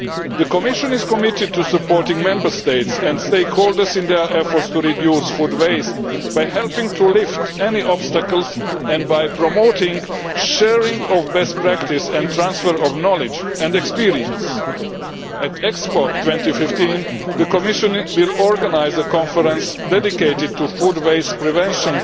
The Commission is committed to supporting the Member States and stakeholders in their efforts to reduce food waste by helping to lift any obstacles and by promoting the sharing of best practice and transfer of knowledge and experience. At Expo 2015, the Commission will organise a conference dedicated to food waste prevention,